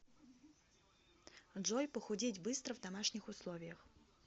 джой похудеть быстро в домашних условиях